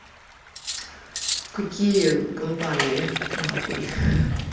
какие компании нахуй